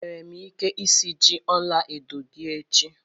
Enwere m ike isiji ọla edo gị echi